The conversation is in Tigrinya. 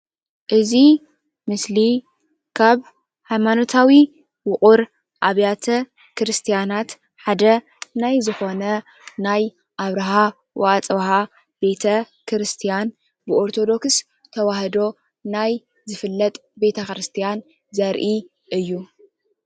እዚ ምስሊ ካብ ሃይማኖታዊ ዉቁር ኣብያተ ክርስትያናት ሓደ ናይ ዝኮነ ናይ ኣብርሃ ወኣፅብሃ ቤተ-ክርስትያን ብኦርተዶክስ ተዋህዶ ናይ ዝፍለጥ ቤተክርስያን ዘርኢ እዩ።